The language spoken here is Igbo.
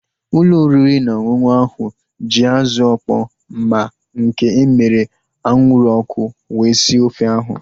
Ụlọ oriri na ọṅụṅụ ahu ji azụ ọkpọ ma nke emere anwụrụ ọkụ wee sie ofe ha